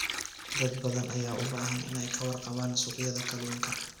Dad badan ayaa u baahan inay ka warqabaan suuqyada kalluunka.